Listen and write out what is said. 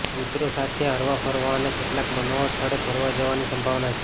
મિત્રો સાથે હરવાફરવા અને કેટલાંક મનોહર સ્થળે ફરવા જવાની સંભાવના છે